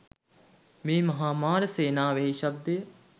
මේ මහා මාර සේනාවෙහි ශබ්දය